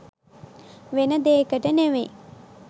වෙන දේකට නෙවෙයි..